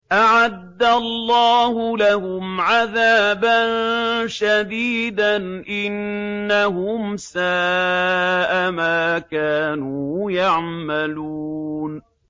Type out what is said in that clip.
أَعَدَّ اللَّهُ لَهُمْ عَذَابًا شَدِيدًا ۖ إِنَّهُمْ سَاءَ مَا كَانُوا يَعْمَلُونَ